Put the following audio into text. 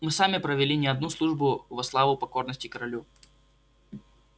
мы сами провели не одну службу во славу покорности королю